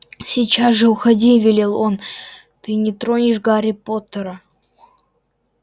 сейчас же уходи велел он ты не тронешь гарри поттера